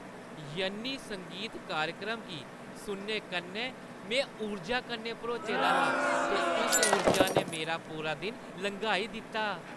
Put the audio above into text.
यन्नी संगीत कार्यक्रम गी सुनने कन्नै में ऊर्जा कन्नै भरोचे दा हा ते उस ऊर्जा ने मेरा पूरा दिन लंघाई दित्ता।